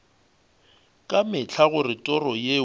ka mehla gore toro yeo